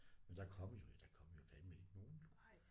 Men der kom jo ikke der kom jo fandeme ikke nogen